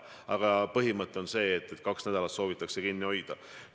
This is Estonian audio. Aga põhimõte on see, et kaks nädalat soovitatakse asutus kinni hoida.